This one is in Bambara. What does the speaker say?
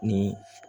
Ni